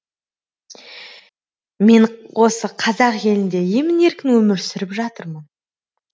мен осы қазақ елінде емін еркін өмір сүріп жатырмын